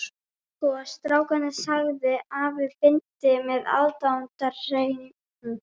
Sko strákinn sagði afi blindi með aðdáunarhreim.